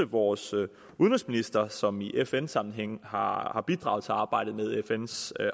vores udenrigsminister som i fn sammenhæng har bidraget til arbejdet med fns